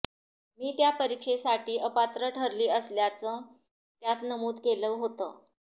मी त्या परीक्षेसाठी अपात्र ठरली असल्याचं त्यात नमूद केलं होतं